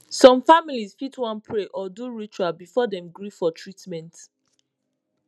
some families fit wan pray or do ritual before dem gree for treatment